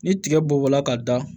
Ni tigɛ bɔla ka da